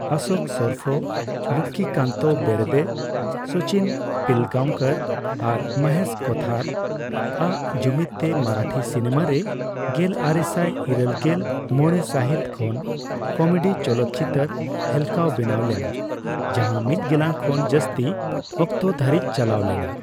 ᱚᱥᱳᱠ ᱥᱚᱨᱯᱷᱚ, ᱞᱚᱠᱠᱷᱤᱠᱟᱱᱛᱚ ᱵᱮᱨᱫᱮ, ᱥᱚᱪᱤᱱ ᱯᱤᱞᱜᱟᱸᱣᱠᱚᱨ ᱟᱨ ᱢᱚᱦᱮᱥ ᱠᱳᱛᱷᱟᱨ ᱟᱜ ᱡᱩᱢᱤᱫᱛᱮ ᱢᱟᱨᱟᱴᱷᱤ ᱥᱤᱱᱮᱢᱟᱨᱮ ᱜᱮᱞᱟᱨᱮᱥᱟᱭᱤᱨᱟᱹᱞᱜᱮᱞ ᱢᱚᱲᱮ ᱥᱟᱹᱦᱤᱛ ᱠᱷᱚᱱ ᱠᱚᱢᱮᱰᱤ ᱪᱚᱞᱚᱴᱪᱤᱛᱟᱹᱨ ᱦᱮᱞᱠᱟᱣ ᱵᱮᱱᱟᱣ ᱞᱮᱱᱟ, ᱡᱟᱦᱟᱸ ᱢᱤᱫ ᱜᱮᱞᱟᱝ ᱠᱷᱚᱱ ᱡᱟᱹᱥᱛᱤ ᱚᱠᱛᱚ ᱫᱷᱟᱹᱨᱤᱪ ᱪᱟᱞᱟᱣ ᱞᱮᱱᱟ ᱾